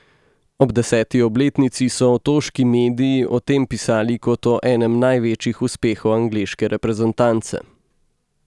Ob deseti obletnici so otoški mediji o tem pisali kot o enem največjih uspehov angleške reprezentance.